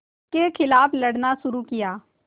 के ख़िलाफ़ लड़ना शुरू किया